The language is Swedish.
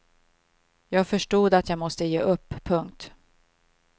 Jag förstod att jag måste ge upp. punkt